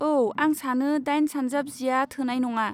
औ, आं सानो दाइन सानजाब जिआ थोनाय नङा।